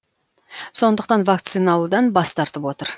сондықтан вакцина алудан бас тартып отыр